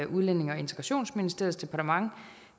udlændinge og integrationsministeriets departement